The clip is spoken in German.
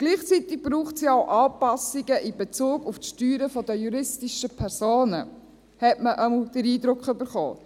Gleichzeitig braucht es ja auch Anpassungen in Bezug auf die Steuern der juristischen Personen, jedenfalls hat man diesen Eindruck bekommen.